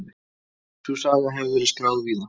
Sú saga hefur verið skráð víða.